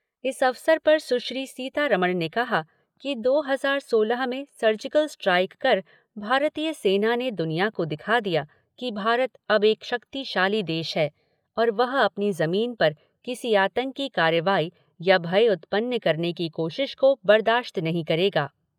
इस अवसर पर सुश्री सीतारमण ने कहा कि दो हजार सोलह में सर्जिकल स्ट्राइक कर भारतीय सेना ने दुनिया को दिखा दिया कि भारत अब एक शक्तिशाली देश है और वह अपनी जमीन पर किसी आतंकी कार्रवाई या भय उत्पन्न करने की कोशिश को बर्दाश्त नहीं करेगा।